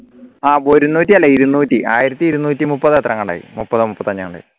ആഹ് ഒരുനൂറ്റി അല്ല ഇരുന്നൂറ്റി ആയിരത്തി ഇരുന്നൂറ്റി മുപ്പത് ത്രങ്ങണ്ടായി മുപ്പതോ മുപ്പത്തഞ്ചോ ങ്ങാണ്ടായി